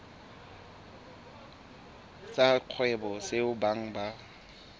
sa kgwebo seo beng ba